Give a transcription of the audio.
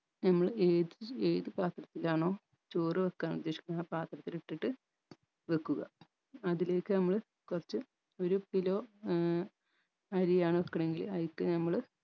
നമ്മൾ ഏത് ഏത് പത്രത്തിലാണോ ചോറ് വെക്കാൻ ഉദ്ദേശിക്കുന്നത് ആ പത്രത്തിലിട്ടിട്ട് വെക്കുക അതിലേക്ക് നമ്മള് കൊറച്ച് ഒരു kilo ഏർ അരിയാണ് വെക്കണെങ്കിൽ അയ്ൽത് നമ്മള്